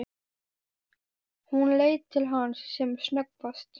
Hún leit til hans sem snöggvast.